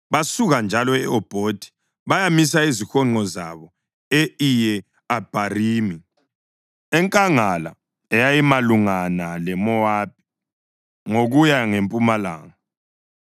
Basuka njalo e-Obhothi bayamisa izihonqo zabo e-Iye-Abharimi, enkangala eyayimalungana leMowabi ngokuya ngempumalanga.